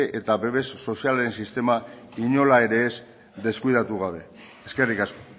eta babes sozial sistema inola ere ez deskuidatu gabe eskerrik asko